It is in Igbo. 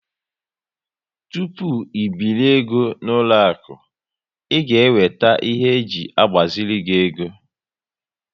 Tupu ibiri égo n'uloaku, ị ga eweta ihe e ji agbaziri ego